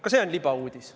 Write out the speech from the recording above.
Ka see on libauudis.